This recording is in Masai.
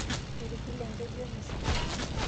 Etigile enkeju emisa.